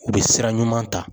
U bɛ sira ɲuman ta.